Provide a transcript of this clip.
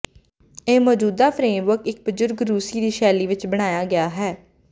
ਇਹ ਮੌਜੂਦਾ ਫਰੇਮਵਰਕ ਇੱਕ ਬਜ਼ੁਰਗ ਰੂਸੀ ਦੀ ਸ਼ੈਲੀ ਵਿਚ ਬਣਾਇਆ ਗਿਆ ਹੈ